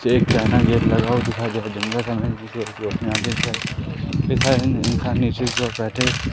Check China gate लगा हुआ दिखाई दे रहा जंगल का नजारा इंसान नीचे की ओर बैठे है।